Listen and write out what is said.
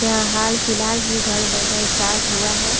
यहाँ हाल फिलहाल ही घर बनना स्टार्ट हुआ है।